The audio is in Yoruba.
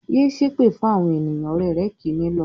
"Yé ṣépè fún àwọn ènìyàn!" Ọ̀rẹ́ rẹ̀ kì í nílọ̀.